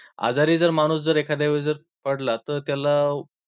आजारी जर माणूस जर एखाद्या वेळी जर पडला तर त्याला